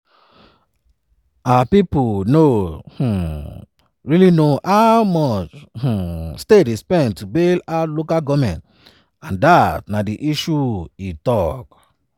"our pipo no um really know how much um states dey spend to bail out local goments and dat na di issue" e tok.